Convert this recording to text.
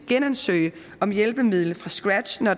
genansøge om et hjælpemiddel fra scratch når